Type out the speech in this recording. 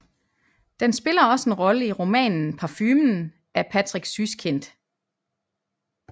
Den spiller også en rolle i romanen Parfumen af Patrick Süskind